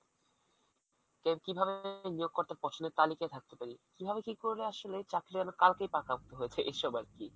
কিভাবে নিয়োগ কর্তাদের পছন্দের তালিকায় থাকতে পারি, কিভাবে কি করলে আসলে চাকরি যেন কালকেই পাকাপোক্ত হয়ে যায় এইসব আর কি।